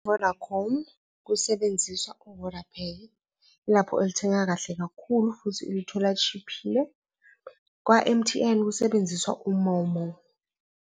Vodacom, kusebenziswa u-VodaPay, yilapho elithengeka kahle kakhulu futhi ulithola tshiphile, kwa-M_T_N, kusebenziswa u-MoMo.